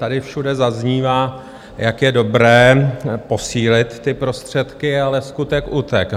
Tady všude zaznívá, jak je dobré posílit ty prostředky, ale skutek utek.